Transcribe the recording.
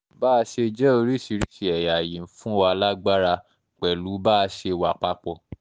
bá a um ṣe jẹ́ oríṣiríṣiì ẹ̀yà yìí ń um fún wa lágbára pẹ̀lú bá a ṣe wà papọ̀